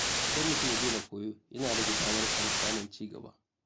Idan mutum ya daina koyo, yana rage damar sa na samun ci gaba.